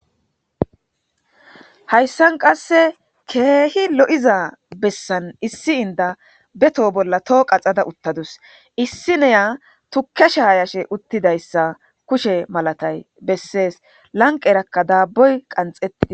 hayssan qasse keehi lo7iza bessan issi inda beto bolla too qaxxada uttadus issi neya tukkeshe hayashe uttidayssa kushe malatay bessees lanqerakka daabboy qanxettidi